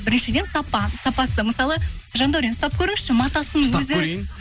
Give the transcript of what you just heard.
біріншіден сапа сапасы мысалы жандаурен ұстап көріңізші матасының өзі ұстап көрейін